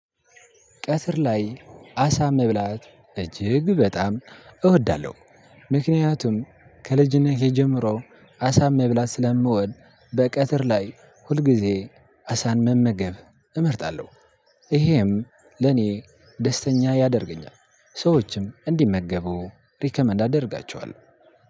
ቀትር ላይ አሳ መብላት እጅግ በጣም እወዳለሁ ምክንያቱም ከልጅነቴ ጀምሮ አሳ መብላት ስለምወድ በቀትር ላይ ሁልጊዜ አሳን መመገብ እመርጣለሁ። ይሄም ለኔ ደስተኛ ያደርገኛል። ሰዎችም እንዲመገቡ ሪከመንድ አደርጋቸዋለሁ።